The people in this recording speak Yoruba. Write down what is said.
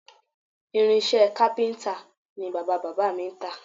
Irinṣẹ́ kápíntà ni bàbá-bàbá mi ń tà